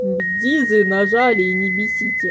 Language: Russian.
дизы нажали и не бесите